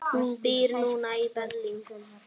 Hún býr núna í Berlín.